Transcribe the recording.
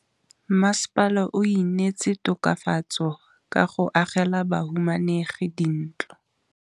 Mmasepala o neetse tokafatsô ka go agela bahumanegi dintlo.